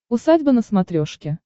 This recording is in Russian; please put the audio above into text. усадьба на смотрешке